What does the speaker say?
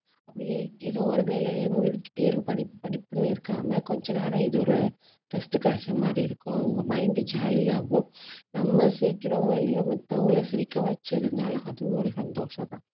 அப்படியே ஏதோ ஒரு வேலையிலேயே மூழ்கிக்கிட்டே இருக்கும். படிப்பு படிப்புன்னு இருக்காம கொஞ்ச நேரம் இது ஒரு rest கிடைச்ச மாதிரி இருக்கும். அவங்க mind jolly ஆகும். நம்ம சிரிக்கிறோமோ இல்லையோ மத்தவங்கள சிரிக்க வச்சதுனாலும் அதுவும் ஒரு சந்தோஷம்தான்